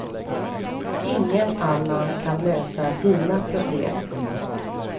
Ingen annan kan lösa dina problem.